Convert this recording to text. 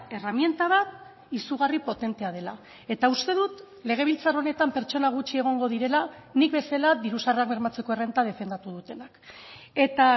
erreminta bat izugarri potentea dela eta uste dut legebiltzar honetan pertsona gutxi egongo direla nik bezala diru sarrerak bermatzeko errenta defendatu dutenak eta